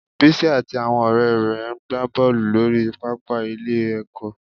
Bísí àti àwọn ọ̀rẹ́ rẹ̀ ń ń gba bọ́ọ̀lù lórí pàápàá ilé-ẹ̀kọ́